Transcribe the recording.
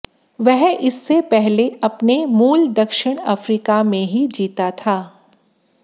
वह इससे पहले अपने मूल दक्षिण अफ्रीका में ही जीता था